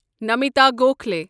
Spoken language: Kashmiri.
نمیتا گوکھالی